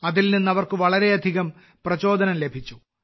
അതിൽ നിന്ന് അവർക്ക് വളരെയധികം പ്രചോദനം ലഭിച്ചു